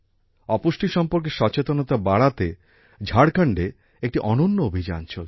অপুষ্টি সম্পর্কে সচেতনতা বাড়াতে ঝাড়খণ্ডে একটি অনন্য অভিযান চলছে